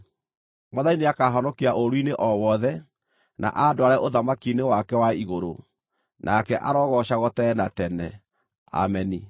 Mwathani nĩakahonokia ũũru-inĩ o wothe, na andware ũthamaki-inĩ wake wa igũrũ, nake arogoocagwo tene na tene. Ameni.